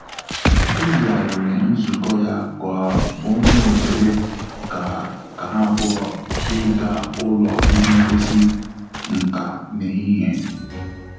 O yighariri nzukọ ya ka onwe ohere ka ka ha abụọ ịga ụlọ ihe ngosi nkà n'ehihie